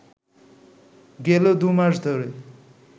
গেল দু’মাস ধরে